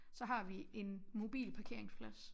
Så har vi en mobilparkeringsplads